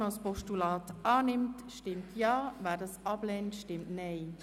Wer dieses Postulat überweisen will, stimmt Ja, wer dies ablehnt, stimmt Nein.